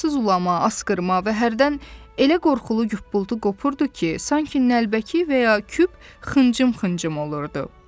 Aramsız ulama, askırma və hərdən elə qorxulu yubultu qopurdu ki, sanki nəlbəki və ya küp xıncım-xıncım olurdu.